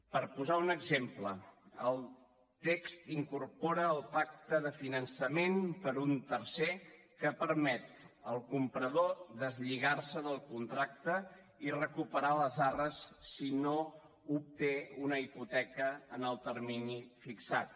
per posar un exemple el text incorpora el pacte de finançament per un tercer que permet al comprador deslligar se del contracte i recuperar les arres si no obté una hipoteca en el termini fixat